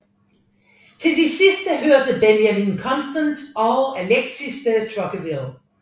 Til de sidste hørte Benjamin Constant og Alexis de Tocqueville